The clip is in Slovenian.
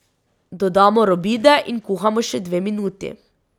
Dodamo robide in kuhamo še dve minuti.